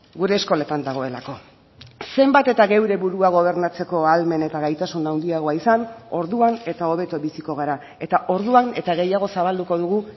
gure eskoletan dagoelako zenbat eta geure burua gobernatzeko ahalmen eta gaitasun handiagoa izan orduan eta hobeto biziko gara eta orduan eta gehiago zabalduko dugu